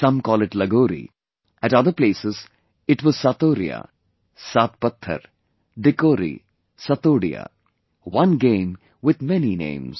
Some called it Lagori, at other places it was Satoriya, Saat Pathar, Dikori, Satodiya... one game with many names